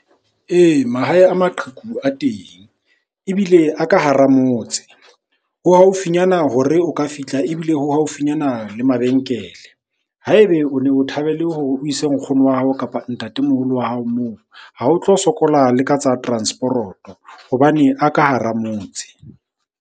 Ee, mahae a maqheku a teng ebile a ka hara motse. Ho haufinyana hore o ka fihla ebile ho haufinyana le mabenkele. Ha ebe o ne o thabele hore o ise nkgono wa hao, kapa ntatemoholo wa hao moo. Ha o tlo sokola le ka tsa transporoto hobane a ka hara motse.